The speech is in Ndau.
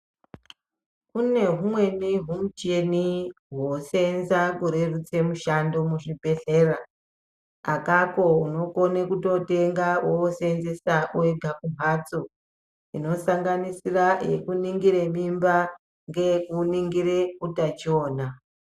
Kune humweni humucheni hoshandiswa kurerutsa mushando muchibhedhleya akako unokone kutotenga wooseenzesa wega kumbatso inosanganisira yekuningire mimba ngeyekuningire utachiona.